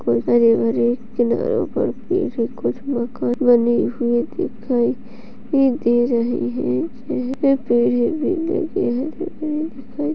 हरे भरे किनारों पर पेड़ हैं कुछ बने हुए दिखाई ये दे रहे हैं हरे भरे दिखाई --